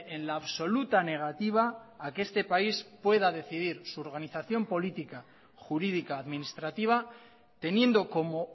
en la absoluta negativa a que este país pueda decidir su organización política jurídica administrativa teniendo como